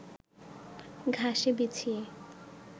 ঘাসে বিছিয়ে